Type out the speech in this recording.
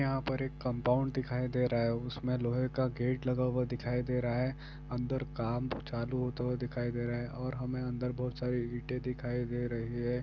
यहां पर एक कम्पाउन्ड दिखाई दे रहा है उसमे लोहे का गेट लगा हुआ दिखाई दे रहा है अंदर काम चालू होता हुआ दिखाई दे रहा है और हमे अंदर बहुत सारी इंटे दिखाई दे रही है।